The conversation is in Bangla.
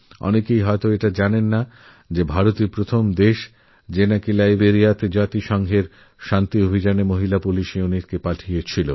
খুব কমজনই একথা জানেন যে ভারতইপ্রথম দেশ যে লাইবেরিয়ায় রাষ্ট্রসঙ্ঘের শান্তি অভিযানে মহিলা পুলিশ ইউনিট পাঠায়